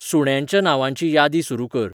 सुुण्यांच्या नांवांची यादी सुरू कर